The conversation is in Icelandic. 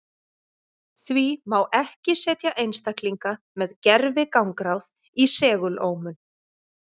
Því má ekki setja einstaklinga með gervigangráð í segulómun.